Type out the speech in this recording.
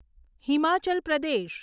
Himachal Pradesh